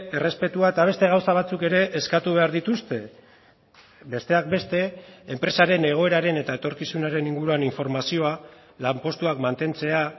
errespetua eta beste gauza batzuk ere eskatu behar dituzte besteak beste enpresaren egoeraren eta etorkizunaren inguruan informazioa lanpostuak mantentzea